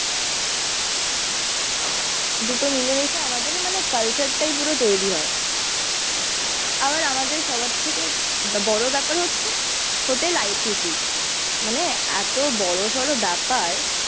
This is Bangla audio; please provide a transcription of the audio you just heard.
দুটো মিলেমিশে আমাদের মানে কালচারটাই পুরো তৈরী হয়। আবার আমাদের সবার থেকে বড়ো ব্যাপার হচ্ছে হোটেল আই টি সি। মানে এতো বড়ো সরো ব্যাপার।